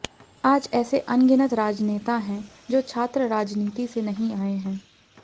आज ऐसे अनगिनत राजनेता हैं जो छात्र राजनीति से नहीं आए है